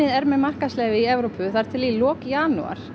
er með markaðsleyfi í Evrópu þar til í lok janúar